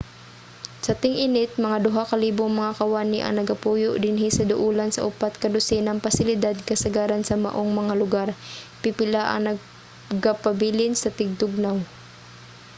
sa ting-init mga duha ka libong mga kawani ang nagapuyo dinhi sa duolan sa upat ka dosenang pasilidad kasagaran sa maong mga lugar; pipila ang nagapabilin sa tingtugnaw